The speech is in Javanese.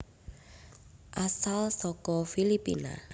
Asal saka Filipina